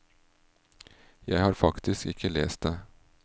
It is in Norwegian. Jeg har faktisk ikke lest det.